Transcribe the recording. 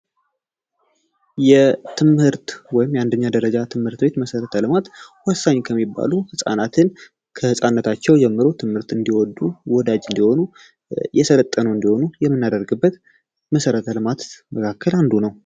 የትምህርት ወይም የአንደኛ ደረጃ ትምህርት ቤት መሰረተ ልማት ወሳኝ ከሚባሉ ህጻናትንታቸው ጀምሮ ትምህርት እንዲወጡ ወዳጅ የምናደርግበት መሰረተ ልማት መካከል አንዱ ነው